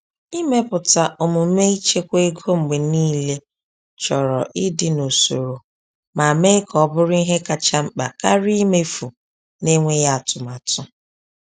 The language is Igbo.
Ịmepụta omume ịchekwa ego mgbe niile chọrọ ịdị n’usoro ma mee ka o bụrụ ihe kacha mkpa karịa imefu n’enweghị atụmatụ.